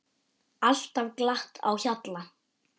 Alltaf glatt á hjalla.